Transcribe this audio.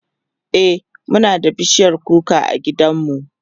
e Muna da bishiyar kuka a gidan mu